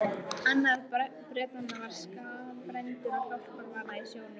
Annar Bretanna var skaðbrenndur og hjálparvana í sjónum.